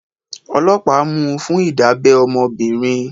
Ọlọ́pàá mú fún Ìdábẹ́ ọmọbìnrin.